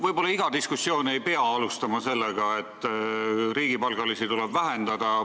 Võib-olla ei peaks iga diskussiooni alustama sellega, et riigipalgaliste arvu tuleb vähendada.